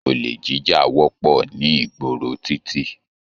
Ole jíjà wọpọ ní ìgboro titi.